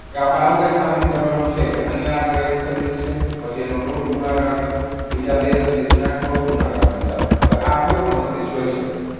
કે આપણે આજ તે સાબિત કરવાનું છે કે આયા આગળ એક સદિશ છે પછી આનું root ગુણાકાર છે બીજા બે સદિશ ના cross ગુણાકારની સાથે હવે આ કોઈ પણ સદિશ હોઈ શકે